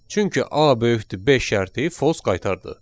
Çünki A böyükdür 5 şərti false qaytardı.